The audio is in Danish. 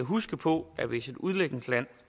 huske på at hvis et udviklingsland